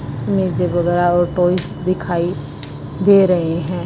इसमें और टॉयज दिखाई दे रहे हैं।